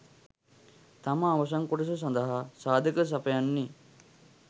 තමා අවසන් කොටස සඳහා සාධක සපයන්නේ